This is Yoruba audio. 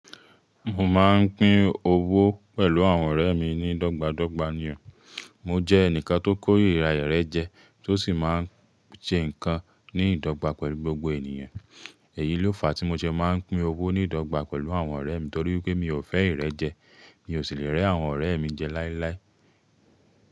Mo máa ń pín owó pẹ̀lú àwọn ọ̀rẹ́ mi ní dọ́gba dọ́gba nì o. Mo jẹ́ ẹnìkan tó kórìíra ìrẹ́jẹẹ́ tó sì máa ń ṣe nǹkan ní ìdọ́gba pẹ̀lú gbogbo ènìyàn. Èyí ló fa tí mo ṣe máa ń pín owó ní ìdọ́gba pẹ̀lú àwọn ọ̀rẹ́ mi torí pé mi ò fẹ́ ìrẹ́jẹẹ́, mi ò sì lè rẹ́ àwọn ọ̀rẹ́ mi jẹ láíláí.